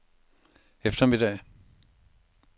eftermiddag